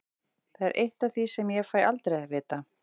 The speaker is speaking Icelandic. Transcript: Það er eitt af því sem ég fæ aldrei að vita.